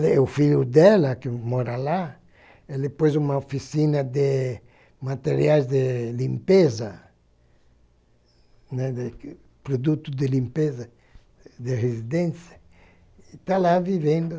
E o filho dela, que mora lá, ele pôs uma oficina de materiais de limpeza, né, de produtos de limpeza, de residência, e tá lá vivendo.